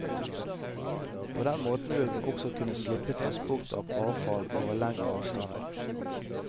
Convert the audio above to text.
På den måten vil man også kunne slippe transport av avfall over lengre avstander.